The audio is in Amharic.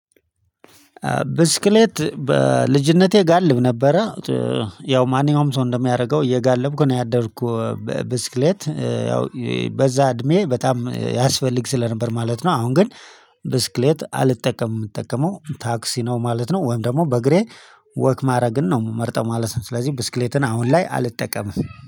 ብስክሌት በልጅነቴ ጋልብ ነበረ። ያው ማን ያውም ሰው እንደሚያደርገው እየጋለብኩ ነው ያደረኩ። ብስክሌት ያው በዛ እድሜ በጣም ያስፈልግ ስለነበር ማለት ነው። አሁን ግን። ብስክሌት አልጠቀምም የምጠቀመው ታክሲ ነው ማለት ነው ወይን ደግሞ በእግሬ ወክ ማድረግን ነው ምመርጠው ማለት ነው። ስለዚህ ብስክሌትን አሁን ላይ አልጠቀምም